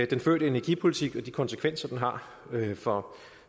den førte energipolitik og de konsekvenser den har for